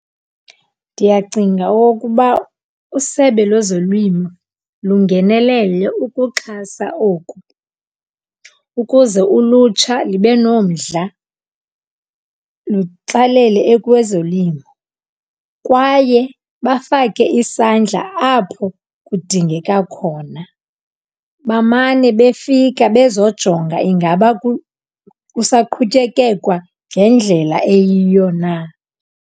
Ndiyacinga okokuba usebe lwezolimo lingenelele ukuxhasa oku ukuze ulutsha libe nomdla lutsalele kwezolimo. Kwaye bafake isandla apho kudingeka khona, bamane befika bezojonga ingaba kusaqhutyekekwa ngendlela eyiyo na.